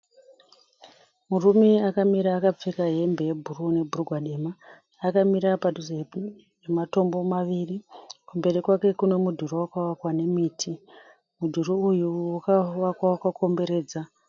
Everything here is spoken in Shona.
Murume akamira akapfeka hembe yebhuruu nebhurigwa dema. Akamira padhuze nematombo maviri. Kumberi kwake kune mudhuri wakavakwa nemiti. Mudhuri uyu wakavakwa wakakomberedza